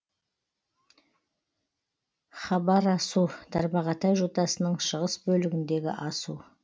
хабарасу тарбағатай жотасының шығыс бөлігіндегі асу